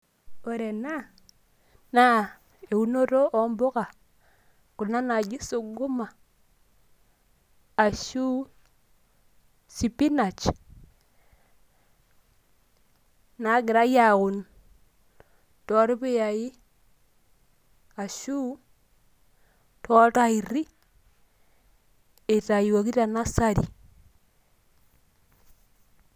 Ore ena, naa eunoto ompuka, kuna naji suguma, ashu sipinach, nagirai aun torpuyai ashu toltairri, eitayioki te nursery.